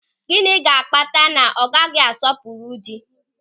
Gịnị ga-akpata na ọ gaghị asọpụrụ dị?